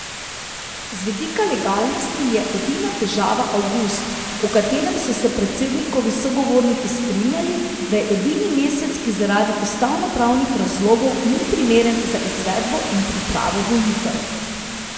Z vidika legalnosti je edina težava avgust, o katerem so se predsednikovi sogovorniki strinjali, da je edini mesec, ki zaradi ustavnopravnih razlogov ni primeren za izvedbo in pripravo volitev.